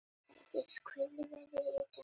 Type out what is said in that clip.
Sædís, hvernig er veðrið í dag?